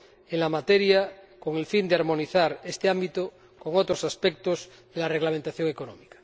en la materia, con el fin de armonizar este ámbito con otros aspectos de la reglamentación económica.